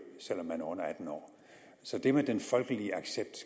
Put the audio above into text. selv om man er under atten år så det med den folkelige accept